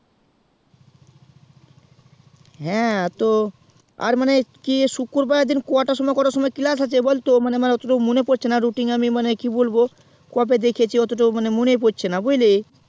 হ্যাঁ তো আর মানে কি শুত্রুবার এর দিন কটা সময় কটা সময় class আছে বলতো মনে মনে পড়ছেনা rutting মানে কি বলবো কবে দেখিছি অতটা মনে পড়ছেনা বুঝলি